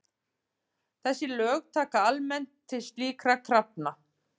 Þessi lög taka almennt til slíkra krafna.